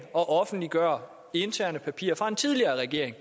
at offentliggøre interne papirer fra en tidligere regering